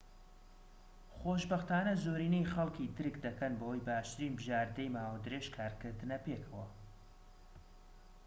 خۆشبەختانە زۆرینەی خەلکی درك دەکەن بەوەی باشترین بژاردەی ماوە درێژ کارکردنە پێکەوە